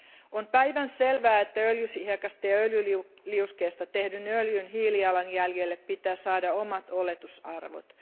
On päivänselvää, että öljyhiekasta ja öljyliuskeesta tehdyn öljyn hiilijalanjäljelle pitää saada omat oletusarvot.